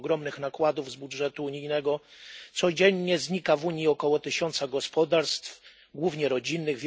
Mimo ogromnych nakładów z budżetu unijnego codziennie znika w Unii około tysiąca gospodarstw, głównie rodzinnych.